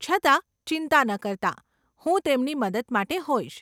છતાં, ચિંતા ન કરતા, હું તેમની મદદ માટે હોઈશ.